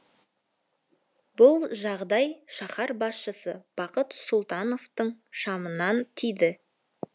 бұл жағдай шаһар басшысы бақыт сұлтановтың шамынан тиді